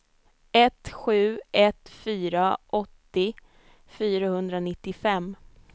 ett sju ett fyra åttio fyrahundranittiofem